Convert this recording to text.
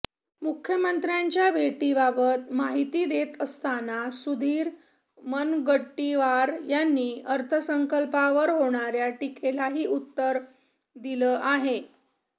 मुख्यमंत्र्यांच्या भेटीबाबत माहिती देत असताना सुधीर मुनगंटीवार यांनी अर्थसंकल्पावर होणाऱ्या टीकेलाही उत्तर दिलं आहे